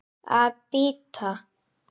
Að bíta.